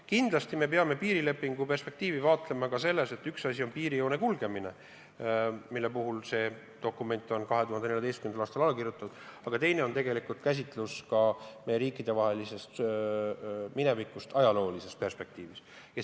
Kindlasti me peame piirilepingu perspektiivi vaatlema ka sellest vaatevinklist, et üks asi on piirijoone kulgemine, mille kohta see dokument on 2014. aastal alla kirjutatud, aga teine asi on meie riikide minevikusuhete, ajaloo käsitus.